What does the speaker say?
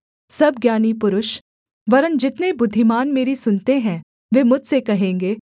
सब ज्ञानी पुरुष वरन् जितने बुद्धिमान मेरी सुनते हैं वे मुझसे कहेंगे